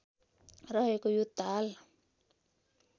रहेको यो ताल